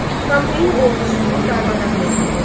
Pompeyin ordusu darmadağın edildi.